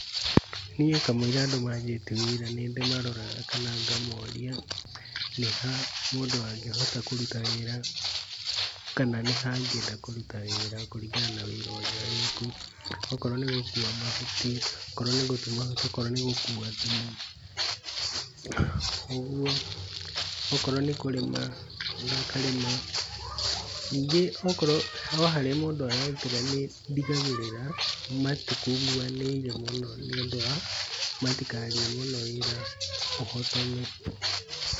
Niĩ kamũira andũ manjĩtie wĩra nĩ ndĩ maroraga kana ngamoria nĩ ha mũndũ angĩhota kũruta wĩra kana nĩ ha angĩenda kũruta wĩra kũringana na wĩra ũrĩa wĩkuo. Okorwo nĩ gũkua mahuti, okorwo nĩ gũtua mahuti, okorwo nĩ gũkua thumu, uguo. Okorwo nĩ kũrĩma makarĩma. Ningĩ okorwo o harĩa mũndu ararutĩra nĩ ndigagĩrĩra matikunguanĩire muno nĩ ũndũ wa matikarie mũno wĩra ũhotome.